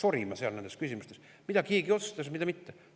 Hakatakse sorima nendes küsimustes, mida keegi siis otsustas ja mida mitte.